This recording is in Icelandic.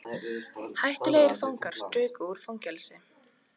Hættulegir fangar struku úr fangelsi